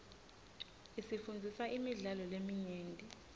isifundzisa imidlalo leminyenti